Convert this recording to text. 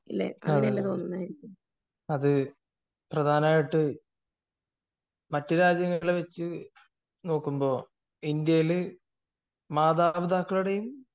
അത് പ്രധാനായിട്ട് മറ്റു രാജ്യങ്ങളെ വച്ച് നോക്കുമ്പോൾ ഇന്ത്യയിൽ മാതാപിതാക്കളുടെയും